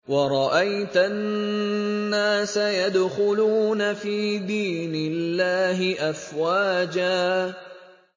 وَرَأَيْتَ النَّاسَ يَدْخُلُونَ فِي دِينِ اللَّهِ أَفْوَاجًا